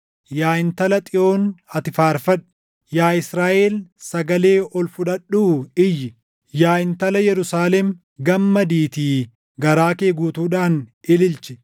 Yaa Intala Xiyoon ati faarfadhu; yaa Israaʼel sagalee ol fudhadhuu iyyi! Yaa Intala Yerusaalem gammadiitii garaa kee guutuudhaan ililchi!